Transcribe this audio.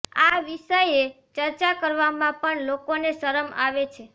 આ વિષયે ચર્ચા કરવામાં પણ લોકોને શરમ આવે છે